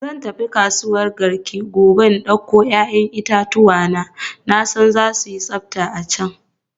Zan tafi kasuwan Garki gobe in dauko 'ya'yan itatuwa na, na san za su yi tsafta a can.